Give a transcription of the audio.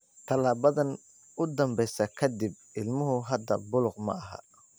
Tallaabadan u dambaysa ka dib, ilmuhu hadda buluug ma aha.